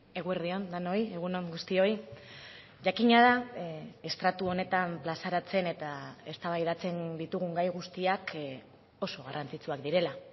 eguerdi on denoi egun on guztioi jakina da estratu honetan plazaratzen eta eztabaidatzen ditugun gai guztiak oso garrantzitsuak direla